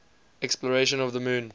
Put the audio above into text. exploration of the moon